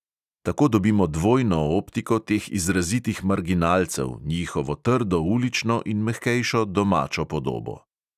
Tako dobimo dvojno optiko teh izrazitih marginalcev, njihovo trdo ulično in mehkejšo domačo podobo.